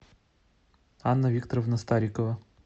анна викторовна старикова